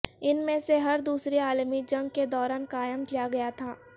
ان میں سے ہر دوسری عالمی جنگ کے دوران قائم کیا گیا تھا